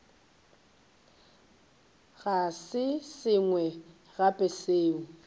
go se sengwe gape seo